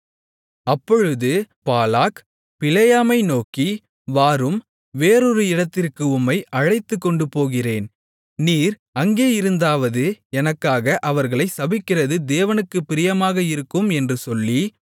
அப்பொழுது பாலாக் பிலேயாமை நோக்கி வாரும் வேறொரு இடத்திற்கு உம்மை அழைத்துக்கொண்டு போகிறேன் நீர் அங்கே இருந்தாவது எனக்காக அவர்களைச் சபிக்கிறது தேவனுக்குப் பிரியமாக இருக்கும் என்று சொல்லி